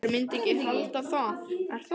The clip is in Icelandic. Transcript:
Maður myndi ekki halda það, er það?